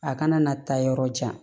A kana na taa yɔrɔ jan